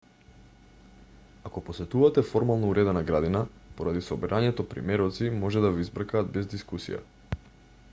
ако посетувате формално уредена градина поради собирањето примероци може да ве избркаат без дискусија